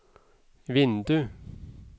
vindu